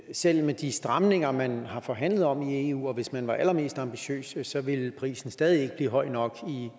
selv med de stramninger man har forhandlet om i eu og selv hvis man var allermest ambitiøs så ville prisen stadig ikke blive høj nok i